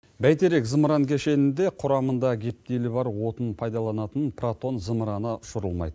бәйтерек зымыран кешенінде құрамында гептилі бар отын пайдаланатын протон зымыраны ұшырылмайды